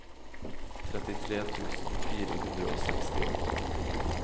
trettitre tusen fire hundre og sekstiåtte